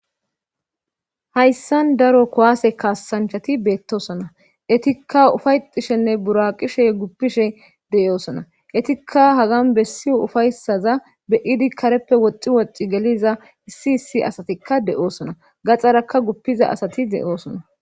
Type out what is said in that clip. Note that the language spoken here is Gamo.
hayssan daro kuwaase kaassanchati beettosona etikka ufayxishenne buraqishe guppishe de7oosona etikka hagan bessi ufaysaza beyidi kareppe woxxi woxi geliza issi issi asatikka de7oosona gaxarakka guppiza asati de7oosona